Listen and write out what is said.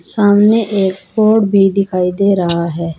सामने एयरपोर्ट भी दिखाई दे रहा है।